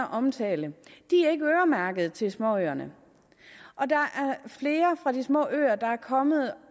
omtalte er ikke øremærket til småøerne og der er flere fra de små øer der er kommet